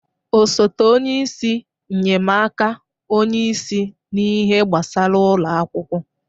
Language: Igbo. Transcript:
Osote onye isi nnyemaaka onye isi n'ihe gbasara ụlọ akwụkwọ.